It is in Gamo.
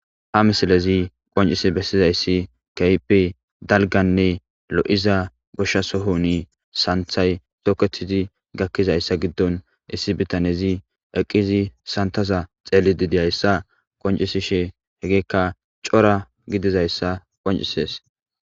ha misilezi qoncisi bessizayssi keyipe dalganne lo7iza goshsha sohuni santhay toketizi gakkizayssa giddon issi bitanezi eqqizi santaza xeelli didiyayssa qoncisishe hegeekka cora gidizayssa qoncisees